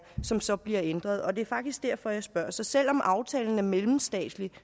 som så bliver ændret det er faktisk derfor jeg spørger så selv om aftalen er mellemstatslig